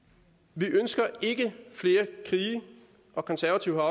vi ønsker ikke flere krige og konservative